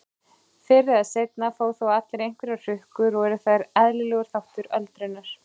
Fyrr eða seinna fá þó allir einhverjar hrukkur og eru þær eðlilegur þáttur öldrunar.